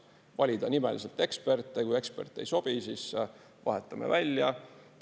Valida nimeliselt eksperte, kui ekspert ei sobi, siis vahetame välja.